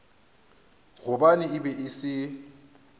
gobane e be e se